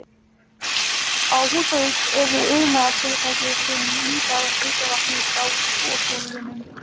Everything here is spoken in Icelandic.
Á Húsavík eru iðnfyrirtæki sem nýta heita vatnið frá borholunum.